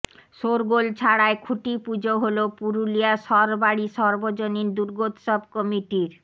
শোরগোল ছাড়াই খুঁটি পুজো হল পুরুলিয়া সরবড়ি সর্বজনীন দুর্গোৎসব কমিটির